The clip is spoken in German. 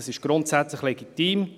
Das ist grundsätzlich legitim.